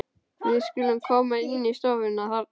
Við skulum koma inn í stofuna þarna.